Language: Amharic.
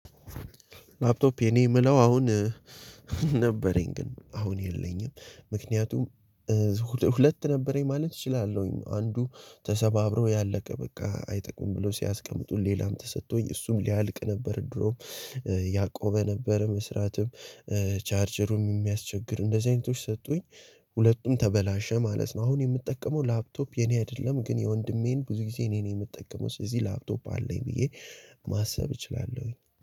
ላፕቶፕ የኔ የምለው አሁን ነበረኝ ግን አሁን የለኝም። ምክንያቱም ሁለት ነበረኝ ማለት እችላለሁኝ። አንዱ ተሰባብሮ ያለቀ በቃ አይጠቅምም ብሎ ሲያስቀምጡ ሌላም ተሰጥቶኝ እሱም ሊያልቅ ነበር። ድሮም ያቆመ ነበር መስራትም ቻርጀሩም የሚያስቸግር እንደዚህ አይነቶች ሰጡኝ። ሁለቱም ተበላሸ ማለት ነው አሁን የምጠቀመው ላፕቶፕ የኔ አይደለም። ግን የወንድሜን ብዙ ጊዜ እኔን የምጠቀመው። ስለዚህ ላፕቶፕ አለኝ ብዬ ማሰብ እችላለሁኝ።